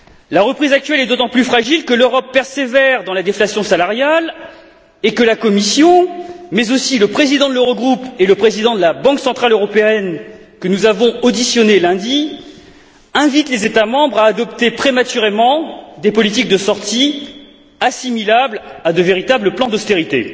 La reprise actuelle est d'autant plus fragile que l'Europe persévère dans la déflation salariale et que la Commission, mais aussi le président de l'Eurogroupe et le président de la Banque centrale européenne que nous avons auditionné lundi invitent les États membres à adopter prématurément des politiques de sortie assimilables à de véritables plans d'austérité.